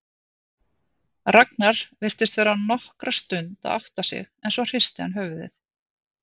Ragnar virtist vera nokkra stund að átta sig en svo hristi hann höfuðið.